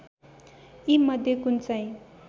यीमध्ये कुन चाहिँ